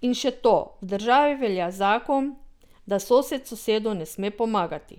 In še to, v državi velja zakon, da sosed sosedu ne sme pomagati ...